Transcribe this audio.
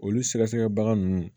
Olu sɛgɛsɛgɛbaga ninnu